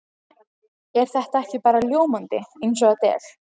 Er þetta ekki bara ljómandi eins og þetta er?